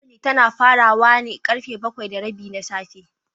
Assembly tana farawa da karfe bakwai da rabi na safe.